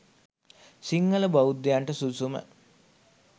සිංහල බෞද්ධයන්ට සුදුසුම